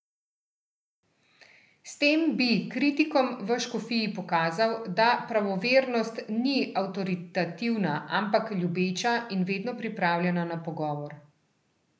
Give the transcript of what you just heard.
S tem bi kritikom v škofiji pokazal, da pravovernost ni avtoritativna, ampak ljubeča in vedno pripravljena na pogovor.